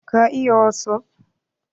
Ka iya wasup?